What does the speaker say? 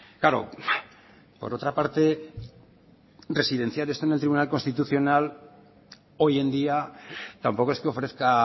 claro por otra parte residenciar esto en el tribunal constitucional hoy en día tampoco es que ofrezca